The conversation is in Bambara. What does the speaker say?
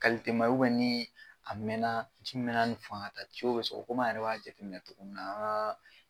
ma ye nii a mɛnaa ji mɛna ni faŋa ta be sɔkɔ kom'a yɛrɛ b'a jateminɛ cogomin na a' kaa